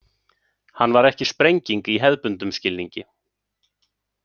Hann var ekki sprenging í hefðbundnum skilningi.